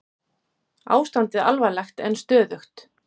Ástandið alvarlegt en stöðugt